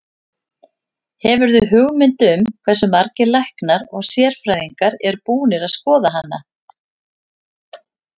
Hefurðu hugmynd um hversu margir læknar og sérfræðingar eru búnir að skoða hana?